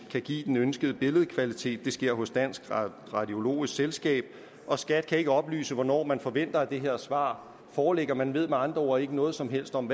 kan give den ønskede billedkvalitet det sker hos dansk radiologisk selskab og skat kan ikke oplyse hvornår man forventer at det her svar foreligger man ved med andre ord ikke noget som helst om